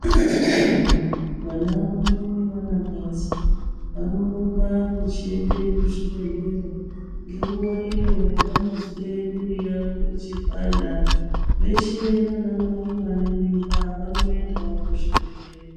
Vana vedu vana kadzi vanorumba vachienda kuzvibhedhelya nenguva iyoo yavanozwe mwiri yavo ichipanda veshee nana mai vane mimba vanoendawo kuchibhedhleya.